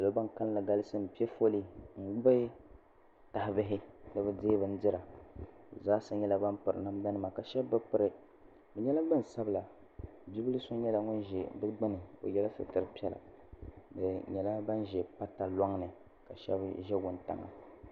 Salo bini kanli galisi mpɛ foli n gbubi yaha bihi ni bi dɛɛ bindira bi zaa sa nyɛla bini piri namda nima ka shɛba bi piri ni nyɛla gbaŋ sabila bibila so nyɛla ŋuni zɛ di gbuni o ye la sitira piɛlla bi nyɛla bini zɛ pata lɔŋ ni ka shɛba zɛ wuntaŋa.